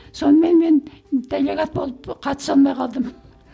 сонымен мен делегат болып қатыса алмай қалдым